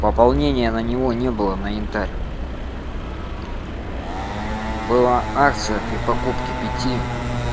пополнение на него не было на янтарь была акция при покупке пяти